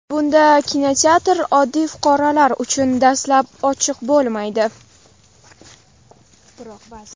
Bunda kinoteatr oddiy fuqarolar uchun dastlab ochiq bo‘lmaydi.